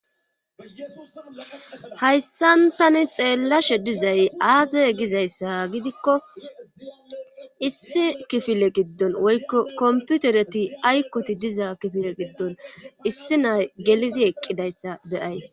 Hayssan tani xeellashe dizay aase gizayssa gidikko issi kifile giddon woykko komputereti aykkoti diza kifile giddon issi nay gelidi eqqidayssa beyays.